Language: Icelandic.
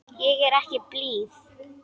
Ég er ekki blíð.